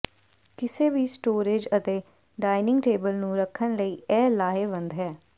ਕਿਸੇ ਵੀ ਸਟੋਰੇਜ਼ ਅਤੇ ਡਾਇਨਿੰਗ ਟੇਬਲ ਨੂੰ ਰੱਖਣ ਲਈ ਇਹ ਲਾਹੇਵੰਦ ਹੈ